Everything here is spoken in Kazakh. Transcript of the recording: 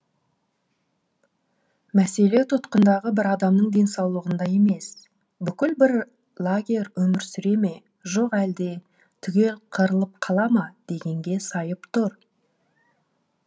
мәселе тұтқындағы бір адамның денсаулығында емес бүкіл бір лагерь өмір сүре ме жоқ әлде түгел қырылып қала ма дегенге сайып тұр